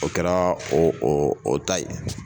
O kɛra o o ta ye.